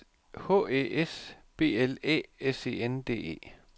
H Æ S B L Æ S E N D E